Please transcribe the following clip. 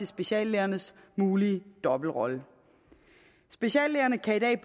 speciallægernes mulige dobbeltrolle speciallægerne kan i dag